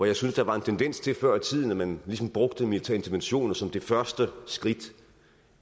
jeg synes der var en tendens til før i tiden at man ligesom brugte militære interventioner som det første skridt